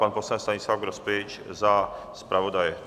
Pan poslanec Stanislav Grospič za zpravodaje.